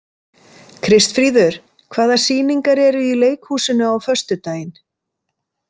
Kristfríður, hvaða sýningar eru í leikhúsinu á föstudaginn?